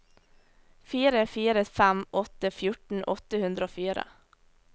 fire fire fem åtte fjorten åtte hundre og fire